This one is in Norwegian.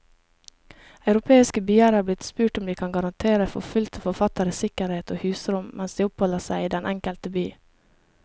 Europeiske byer er blitt spurt om de kan garantere forfulgte forfattere sikkerhet og husrom mens de oppholder seg i den enkelte by.